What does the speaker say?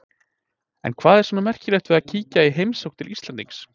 En hvað er svona merkilegt við að kíkja í heimsókn til Íslendings?